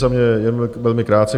Za mě jen velmi krátce.